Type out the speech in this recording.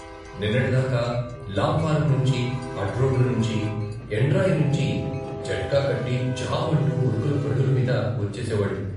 నిన్నటిదాకా లాంఫారం నుంచి, అడ్రోడ్డు నుంచి, యండ్రాయినించి జట్కాకట్టి జాం అంటూ ఉరుకుల పరుగుల మీద వచ్చేసేవాడు.